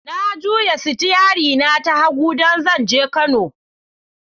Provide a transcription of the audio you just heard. Na juya sitiyari na ta hagu don zan je Kano.